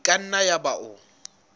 e ka nna yaba o